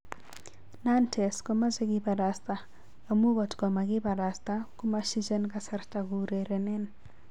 Nantes komache kiparasta, amun kotkomakiparasta komashijen kasarta koureren.